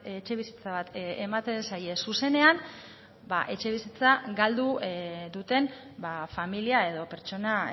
etxebizitza bat ematen zaie zuzenean etxebizitza galdu duten familia edo pertsona